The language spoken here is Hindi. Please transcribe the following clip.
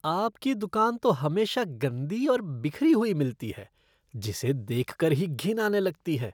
आपकी दुकान तो हमेशा गंदी और बिखरी हुई मिलती है जिसे देख कर ही घिन आने लगती है।